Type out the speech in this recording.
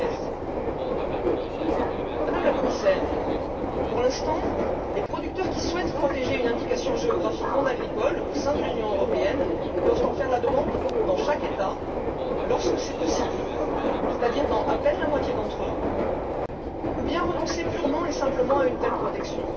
2016. Madame la Commissaire, pour l'instant, les producteurs qui souhaitent protéger une indication géographique non agricole au sein de l'Union européenne doivent en faire la demande dans chaque État, lorsque c'est possible, c'est à dire dans à peine la moitié d'entre eux, ou bien renoncer purement et simplement à une telle protection.